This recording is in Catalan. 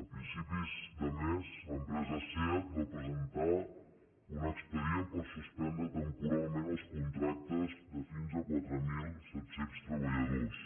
a principis de mes l’empresa seat va presentar un expedient per suspendre temporalment els contractes de fins a quatre mil set cents treballadors